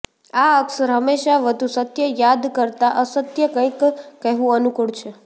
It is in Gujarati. આ અક્ષર હંમેશા વધુ સત્ય યાદ કરતાં અસત્ય કંઈક કહેવું અનુકૂળ છે